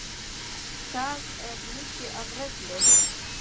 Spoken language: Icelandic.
Það er mikið af reglum.